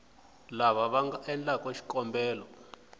lava va nga endlaku xikombelo